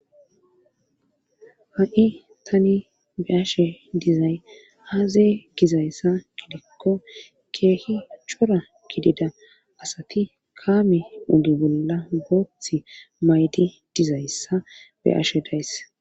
Ha'i tani be'ashe dizayssi aaze gizayssa gidikko keehi cora gidida asati kaame oge bolla booththi maydi dizayssa be'ashe days.